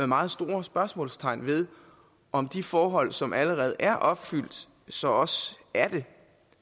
meget store spørgsmålstegn ved om de forhold som allerede er opfyldt så også er det